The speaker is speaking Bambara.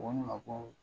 Ko ne ma ko